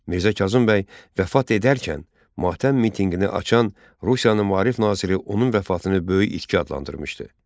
Mirzə Kazım bəy vəfat edərkən matəm mitinqini açan Rusiyanın maarif naziri onun vəfatını böyük itki adlandırmışdı.